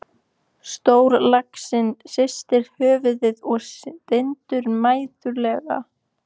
Stórlaxinn hristir höfuðið og stynur mæðulega.